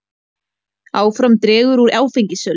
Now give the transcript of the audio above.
Áfram dregur úr áfengissölu